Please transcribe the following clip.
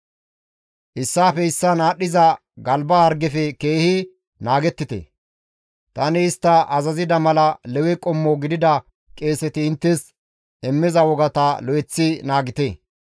Issaafe issaan aadhdhiza galba hargefe keehi naagettite; tani istta azazida mala Lewe qommo gidida qeeseti inttes immiza wogata lo7eththi naagite.